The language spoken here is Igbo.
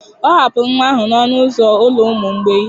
Ọ hapụrụ nwa ahụ n'ọnụ ụzọ ụlọ ụmụ mgbei